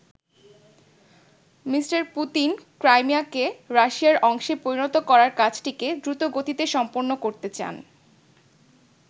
Me. Putin ক্রাইমিয়াকে রাশিয়ার অংশে পরিণত করার কাজটিকে দ্রুতগতিতে সম্পন্ন করতে চান।